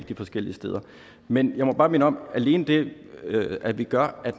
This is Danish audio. de forskellige steder men jeg må bare minde om at alene det at vi gør at